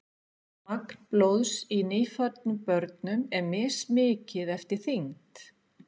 magn blóðs í nýfæddum börnum er mismikið eftir þyngd